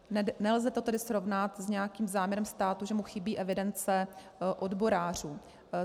Nelze to tedy srovnat s nějakým záměrem státu, že mu chybí evidence odborářů.